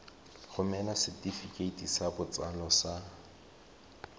romela setefikeiti sa botsalo sa